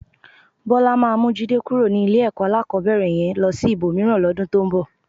Bọ́lá máa mú Jídé kúrò ní ilé-ẹ̀kọ́ alákọ̀ọ́bẹ̀rẹ̀ yẹn lọ sí ibòmíràn lọ́dún tó ń bọ̀.